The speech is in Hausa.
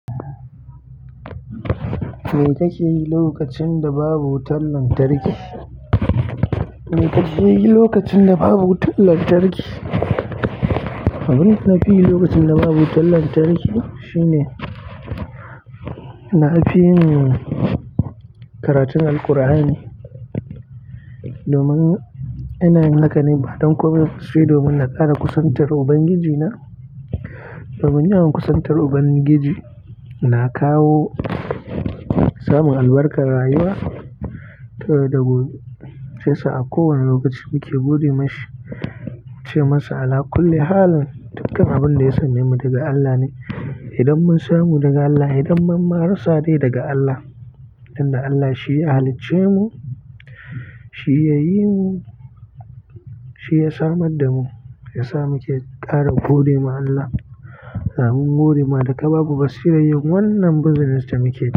Me kake yi lokacin da babu wutan lantarki? Me kake yi lokacin da babu wutan lantarki? Abin da nafi yi lokacin da babu wutan lantarki shine nafi yin karatun Alqur'ani, domin ina yin haka ne ba don komi ba sai domin na ƙara kusantar Ubangijina. Domin yawan kusantar Ubangiji na kawo samun albarkar rayuwa ta yau da gobe, shi ya sa a kowane lokaci muke gode mashi, ce masa Allah kullum halin dukkan abin da ya samemu daga Allah ne. Idan mun samu daga Allah, idan ma mun rasa dai daga Allah, don Allah shi ya halicce mu, shi ya yi mu, shi ya samar da mu, ya sa muke ƙara godewa Allah. Allah mun gode ma da ka babu basira yin wannan business da muke.